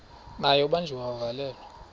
naye ubanjiwe wavalelwa